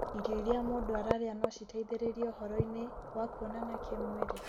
Irio iria mũndũ ararĩa no citeithie ũhoro-inĩ wa kuonana kĩmwĩrĩ ?